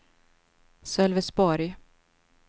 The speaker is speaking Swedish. Sölvesborg